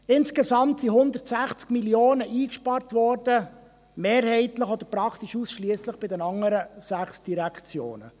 Insgesamt wurden 160 Mio. Franken eingespart, mehrheitlich oder praktisch ausschliesslich bei den anderen sechs Direktionen.